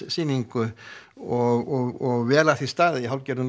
sýningu og vel að því staðið í hálfgerðum